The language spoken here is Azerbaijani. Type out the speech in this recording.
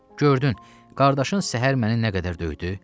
Gördün, qardaşın səhər məni nə qədər döydü.